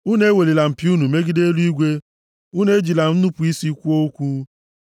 Unu ewelila mpi unu megide eluigwe; unu ejila nnupu isi kwuo okwu.’ ”